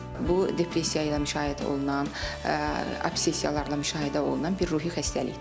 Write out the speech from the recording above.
Bu depressiya ilə müşayiət olunan, obsessiyalarla müşahidə olunan bir ruhi xəstəlikdir.